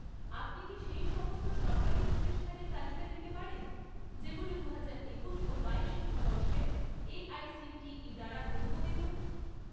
আপনি কি সেই সমস্ত সরকারি প্রতিষ্ঠানের তালিকা দিতে পারেন যেগুলো দুহাজার একুশ ও বাইশ শিক্ষাবর্ষে এআইসিটিই দ্বারা অনুমোদিত?